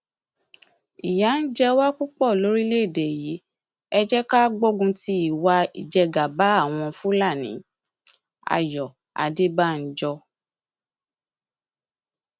ìyà ń jẹ wá púpọ lórílẹèdè yìí ẹ jẹ ká gbógun ti ìwà ìjẹgàba àwọn fúlàníayọ adébànjọ